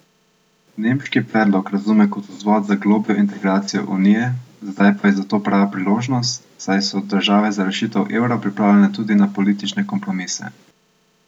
Nemški predlog razume kot vzvod za globljo integracijo Unije, zdaj pa je za to prava priložnost, saj so države za rešitev evra pripravljene tudi na politične kompromise.